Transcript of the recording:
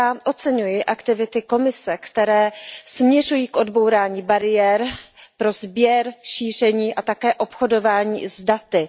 Oceňuji aktivity Komise, které směřují k odbourání bariér pro sběr, šíření a také obchodování s daty.